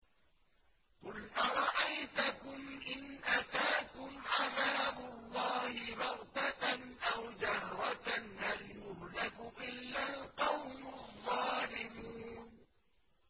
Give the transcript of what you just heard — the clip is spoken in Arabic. قُلْ أَرَأَيْتَكُمْ إِنْ أَتَاكُمْ عَذَابُ اللَّهِ بَغْتَةً أَوْ جَهْرَةً هَلْ يُهْلَكُ إِلَّا الْقَوْمُ الظَّالِمُونَ